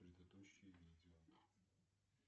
предыдущее видео